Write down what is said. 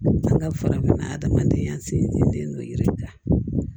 An ka farafinna adamadenya sinsin n'o ye yirija